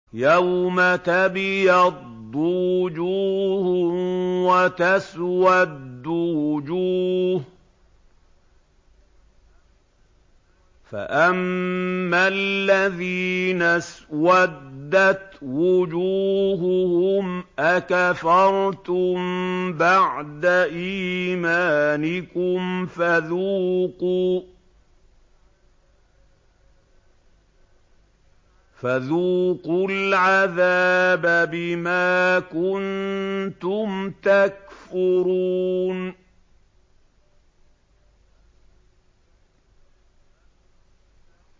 يَوْمَ تَبْيَضُّ وُجُوهٌ وَتَسْوَدُّ وُجُوهٌ ۚ فَأَمَّا الَّذِينَ اسْوَدَّتْ وُجُوهُهُمْ أَكَفَرْتُم بَعْدَ إِيمَانِكُمْ فَذُوقُوا الْعَذَابَ بِمَا كُنتُمْ تَكْفُرُونَ